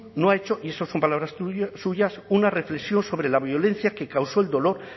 no ha hecho y eso son palabras suyas una reflexión sobre la violencia que causó el dolor